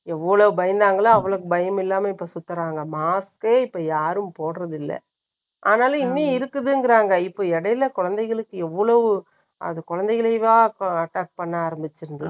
எவ்வளவு பயந்தாங்களோ, அவ்வளவு பயம் இல்லாம, இப்போ சுத்தறாங்க. Mask ஏ இப்போ, யாரும் போடறதில்லை ஆனாலும், இன்னும் இருக்குதுங்கறாங்க.இப்ப இடையில, குழந்தைகளுக்கு எவ்வளவு, அது குழந்தைகளைவா, attack பண்ண ஆரம்பிச்சுருது?